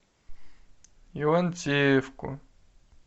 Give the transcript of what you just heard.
ивантеевку